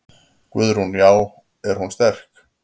Guðrún: Já er hún sterk?